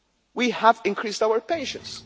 day. We have increased our pensions